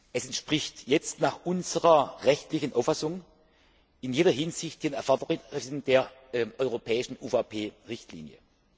Es entspricht jetzt nach unserer rechtlichen Auffassung in jeder Hinsicht den Erfordernissen der europäischen UVP Richtlinie.